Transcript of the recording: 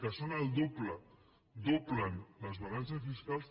que són el doble doblen les balances fiscals